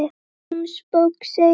Í Jónsbók segir